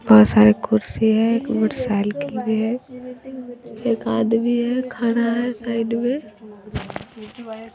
बहुत सारे कुर्सी हैं एक मोटर साइकिल भी है एक आदमी है खारा है साइड में।